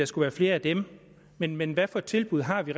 skal være flere af dem men men hvad for et tilbud har vi